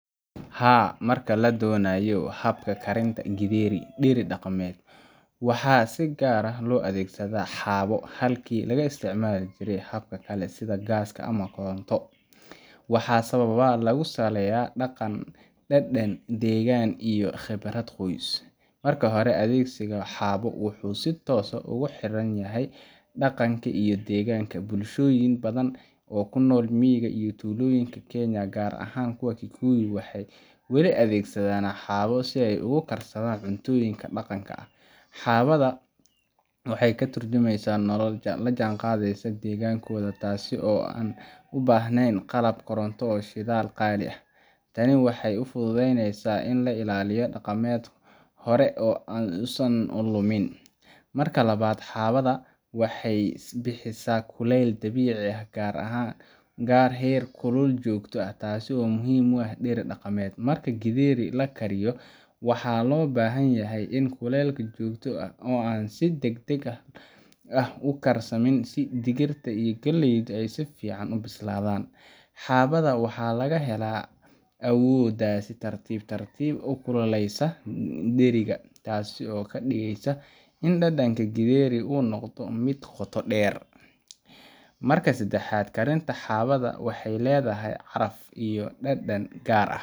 Haa marka ladonayo habka karinta Gedheri deri daqameed waxa si gaar aah lo adeegsada xabo halki laga isticmali jiray habka kale sida Gaska, ama Koronto waxa sababa lagu saleeya daqan, dedan, degan iyo khibarad qooys marka hore adegsiga xabo wuxu si toos ah ugu xeran yahay daqanka I deganka bulashoyin badan o kunol miiga iyo tulooyinka Kenya gar ahan kuwa Kikuyu waxay wali adegsadan xabo si ay ugu karsadan cuntoyinka daqanka ah. Xabada waxay katurjumeysa nolal lajan qadeysa tasi o u bahneen qalab Koronto o shidaal qali ah. Tani waxay ufududeyneysa in la ilaaliyo daqamed hore on an lumin. marka 2 xabada waxay bixiisa kuleyl dabici ah gar aahan gar heer kulul jogto tasi o muhim u ah dhir daqameed marka Gedheri lakariyo waxa lo bahanyahay in kuleyl jogto aah o an si dagdag ah u karsamin digirta iyo galeyda ay sifican u bislaadan xabada waxa lagahela awodas tartib tartib u kululeysa deriga o kadigeysa in dadanka gedheri u noqdo mid qoto dher marka 3 karinta xabada waxay ledahay caraf I dadan gar ah